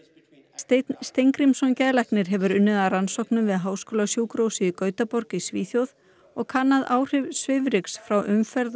Steinn Steingrímsson geðlæknir hefur unnið að rannsóknum við háskólasjúkrahúsið í Gautaborg í Svíþjóð og kannað áhrif svifryks frá umferð